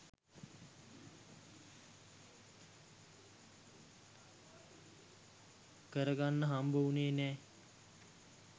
කර ගන්න හම්බ උණේ නෑ.